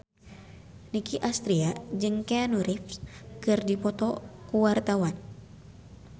Nicky Astria jeung Keanu Reeves keur dipoto ku wartawan